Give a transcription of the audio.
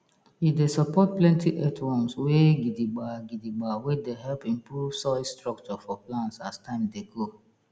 e dey support plenty earthworms wey gidigba gidigba wey dey help improve soil structure for plants as time dey go